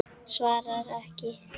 Svarar ekki.